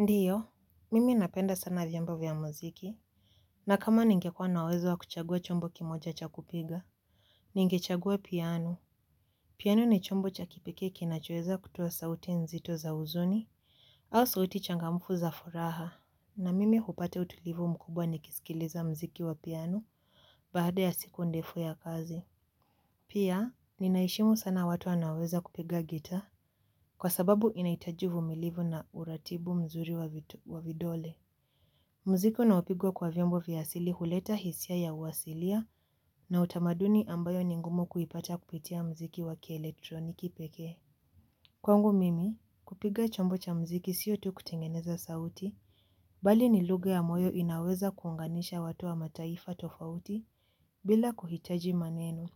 Ndiyo, mimi napenda sana vyombo vya muziki. Na kama ningekua na uwezo wa kuchagua chombo kimoja cha kupiga. Ningechagua piano. Piano ni chombo cha kipekee kinachoweza kutoa sauti nzito za huzuni. Au sauti changamfu za furaha. Na mimi hupata utulivu mkubwa nikisikiliza muziki wa piano baada ya siku ndefu ya kazi. Pia, ninaheshimu sana watu anaweza kupiga gitaa. Kwa sababu inahitaji uvumilivu na uratibu mzuri wa vidole. Muziki unaopigwa kwa vyombo vya asili huleta hisia ya uasilia na utamaduni ambayo ni ngumu kuipata kupitia muziki wa kieletroniki pekee. Kwangu mimi, kupiga chombo cha muziki siyo tu kutengeneza sauti, bali ni lugha ya moyo inayoweza kuunganisha watu wa mataifa tofauti bila kuhitaji maneno.